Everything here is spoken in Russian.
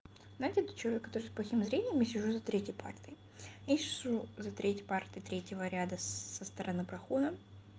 знаете тот человек который с плохим зрением я сижу за третьей партой я сижу за третьей парты третьего ряда со стороны прохода